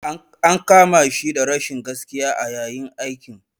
An kama shi da rashin gaskiya a yayin aikin.